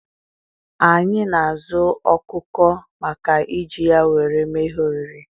Anyị na-azụ ọkụkọ maka iji ya nwere mee ihe oriri